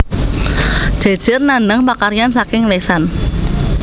Jejer nandhang pakaryan saking lesan